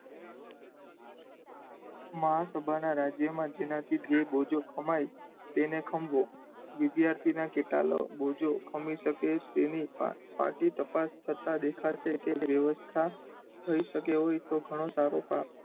મહાસભાનાં રાજ્યોમાં જેનાથી જે બોજો કમાય તેને ખંભો, વિધ્યાર્થીનાં કેટલાક બોજો ખંભી શકે તેની પાર્ટી તપાસ થતાં દેખાશે, કે વ્યવસ્થા થયી શકે એવું હોય તો ઘણું સારું